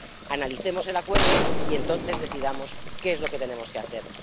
analicemos el acuerdo y entonces decidamos qué es lo que tenemos que hacer.